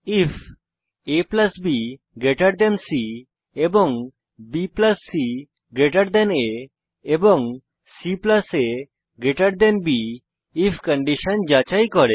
ifabসি এবং bcআ এবং caবি আইএফ কন্ডিশন যাচাই করে